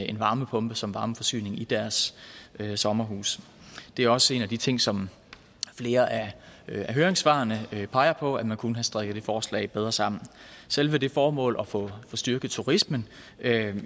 en varmepumpe som varmeforsyning i deres sommerhuse det er også en af de ting som flere af høringssvarene peger på altså at man kunne have strikket det forslag bedre sammen selve det formål at få styrket turismen